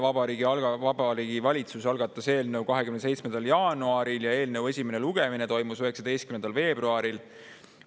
Vabariigi Valitsus oli algatanud eelnõu 27. jaanuaril ja eelnõu esimene lugemine toimus 19. veebruaril.